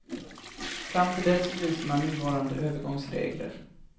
Fram till dess fryser man nuvarande övergångsregler.